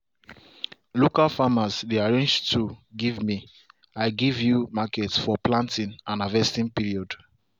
local farmers dey arrange tool give me i give you market for planting and harvesting period.